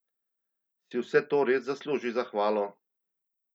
Si vse to res zasluži zahvalo?